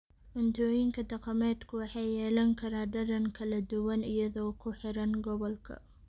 Cuntooyinka dhaqameedku waxay yeelan karaan dhadhan kala duwan iyadoo ku xiran gobolka.